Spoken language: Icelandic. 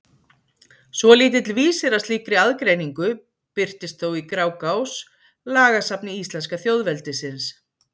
Svolítill vísir að slíkri aðgreiningu birtist þó í Grágás, lagasafni íslenska þjóðveldisins.